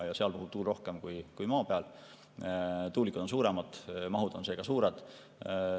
Ja seal puhub tuul rohkem kui maa peal, tuulikud on suuremad, mahud on seega suured.